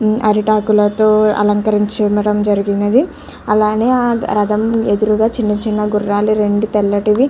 హ్మ్మ్ అరిటాకులతో అలంకరించడం జరిగినవి అలానే ఆ రధం ఎదురుగా చిన్న చిన్న గుర్రాలు తెల్లటివి --